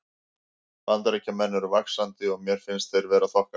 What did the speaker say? Bandaríkjamenn eru vaxandi og mér finnst þeir vera þokkalegir.